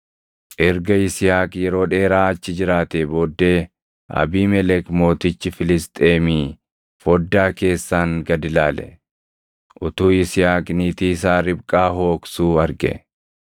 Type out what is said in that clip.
Erga Yisihaaq yeroo dheeraa achi jiraatee booddee, Abiimelek mootichi Filisxeemii foddaa keessaan gad ilaale; utuu Yisihaaq niitii isaa Ribqaa hooqsuu arge.